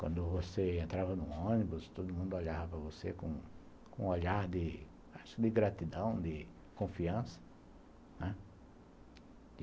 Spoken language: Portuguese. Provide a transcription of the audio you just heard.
Quando você entrava num ônibus, todo mundo olhava você com com um olhar, acho, de gratidão, de confiança, né.